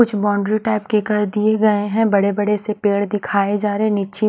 कुछ boundary type के कर दिए गए है बड़े बड़े से पेड़ दिखाए जा रहे है नीचे --